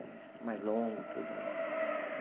É mais longo e tudo.